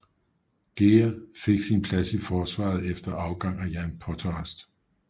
Ger fik sin plads i forsvaret efter afgang af Jan Potharst